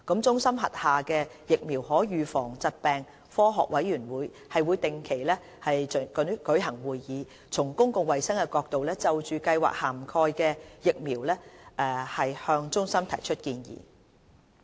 中心轄下的疫苗可預防疾病科學委員會定期舉行會議，從公共衞生的角度，就計劃涵蓋的疫苗向中心提出建議。